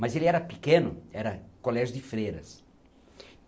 Mas ele era pequeno, era colégio de freiras.